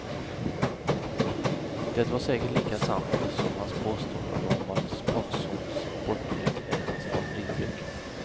Det var säkert lika sant, som hans påstående om att sponsorns sportdryck är hans favoritdryck.